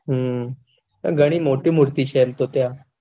હમ પણ ઘણી મોટી મૂર્તિ એમ તો ત્યાં.